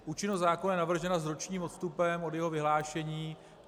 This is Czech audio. Účinnost zákona je navržena s ročním odstupem od jeho vyhlášení.